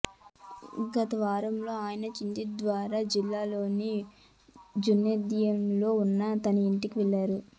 గతవారం ఆయన ఛింద్వారా జిల్లాలోని జున్నార్దియోలో ఉన్న తన ఇంటికి వెళ్లారు